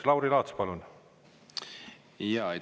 Lauri Laats, palun!